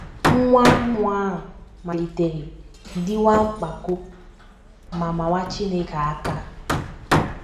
Nwa mmụọ a malitere dịwa mpako ma mawa Chineke aka.